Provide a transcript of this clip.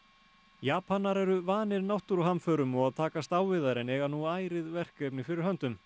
Japanar eru vanir náttúruhamförum og að takast á við þær en eiga nú ærið verkefni fyrir höndum